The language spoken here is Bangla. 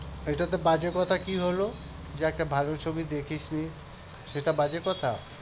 এটাতে বাজে কথা কি হলো? যে একটা ভাল ছবি দেখিসনি। সেটা বাজে কথা?